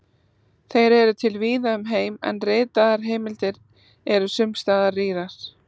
Þeir eru til víða um heim, en ritaðar heimildir eru sums staðar rýrar.